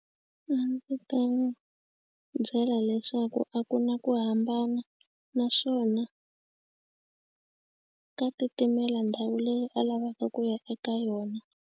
A ndzi ta n'wi byela leswaku a ku na ku hambana naswona ka titimela ndhawu leyi a lavaka ku ya eka yona.